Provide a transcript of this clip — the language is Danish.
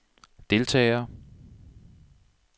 deltagere